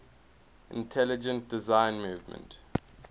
intelligent design movement